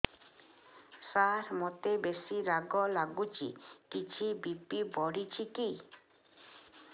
ସାର ମୋତେ ବେସି ରାଗ ଲାଗୁଚି କିଛି ବି.ପି ବଢ଼ିଚି କି